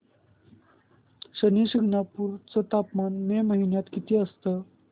शनी शिंगणापूर चं तापमान मे महिन्यात किती असतं